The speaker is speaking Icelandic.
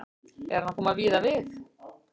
En hann kom víða við.